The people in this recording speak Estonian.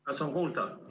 Kas on kuulda?